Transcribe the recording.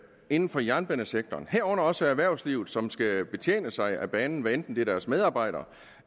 inden for jernbanesektoren herunder også erhvervslivet som skal betjene sig af banen hvad enten det er deres medarbejdere